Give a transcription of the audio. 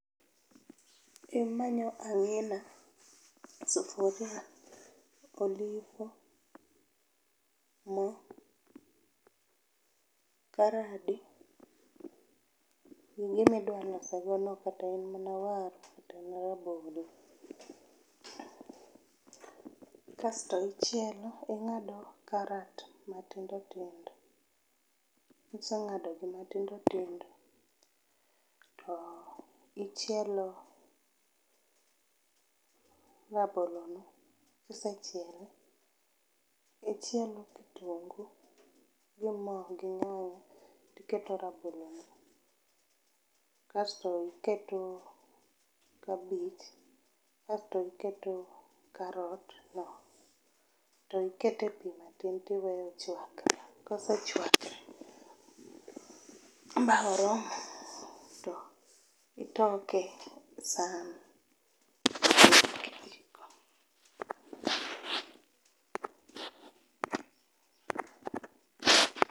Imanyo angina, sufuria, oliho, moo, karade, gi gima idwa loso go no kata en mana waru kata en rabolo. Kasto ichielo, ingado karat matindo tindo kisengadogi matindo tindo ichielo rabolo no, kisechiele, ichielo kitungu gi moo gi nyanya tiketo rabolo no, asto iketo kabich, asto iketo karot no to iketo pii matin tiweyo chwakre, kosechwakre ma oromo to itoke e san gi kijiko